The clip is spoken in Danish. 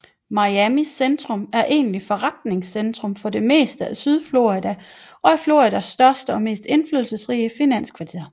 Miamis centrum er egentlig forretningscentrum for det meste af sydflorida og er Floridas største og mest indflydelsesrige finanskvarter